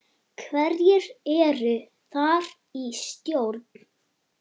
Hverjir eru þar í stjórn?